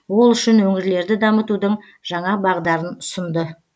ол үшін өңірлерді дамытудың жаңа бағдарын ұсынды